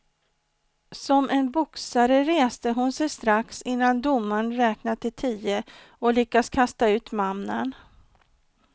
Som en boxare reste hon sig strax innan domaren räknat till tio och lyckades kasta ut mannen.